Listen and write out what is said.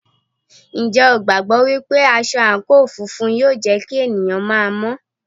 Ǹjẹ́ o gbàgbọ́ wípé aṣọ àǹkóò funfun yóò jẹ́ kí ènìyàn máa mọ́?